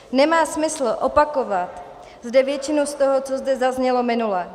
Nemá smysl opakovat zde většinu z toho, co zde zaznělo minule.